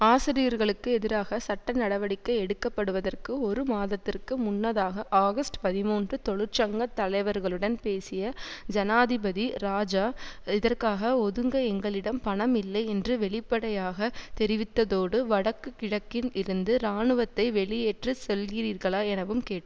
ஆசிரியர்களுக்கு எதிராக சட்ட நடவடிக்கை எடுக்கப்படுவதற்கு ஒரு மாதத்திற்கு முன்னதாக ஆகஸ்ட் பதிமூன்று தொழிற்சங்க தலைவர்களுடன் பேசிய ஜனாதிபதி இராஜா இதற்காக ஒதுங்க எங்களிடம் பணம் இல்லை என வெளிப்படையாக தெரிவித்ததோடு வடக்கு கிழக்கில் இருந்து இராணுவத்தை வெளியேற்றச் சொல்கிறீர்களா எனவும் கேட்